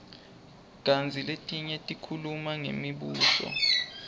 kantsi letinye tikhuluma ngemibuso